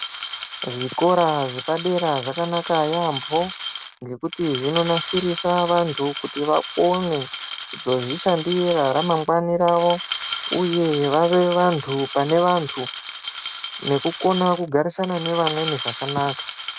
Zvikora zvapadera zvakanaka yampo ngekuti zvinonasirisa kuti vantu vakone kuzozvishandira ramangwani ravo uye vave vantu pane vantu nekukona kugarisana nevamweni zvakanaka.